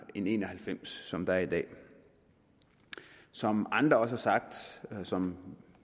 en en og halvfems som der er i dag som andre også har sagt og som